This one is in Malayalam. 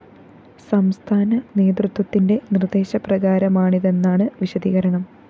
സംസ്ഥാന നേതൃത്വത്തിന്റെ നിര്‍ദ്ദേശപ്രകാരമാണിതെന്നാണ്‌ വിശദീകരണം